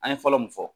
An ye fɔlɔ mun fɔ